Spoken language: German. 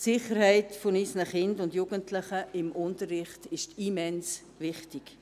Die Sicherheit unserer Kinder und Jugendlichen im Unterricht ist immens wichtig.